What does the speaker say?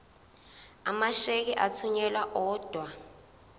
amasheke athunyelwa odwa